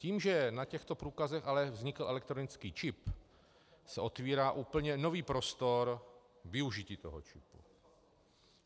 Tím, že na těchto průkazech ale vznikl elektronický čip, se otvírá úplně nový prostor využití toho čipu.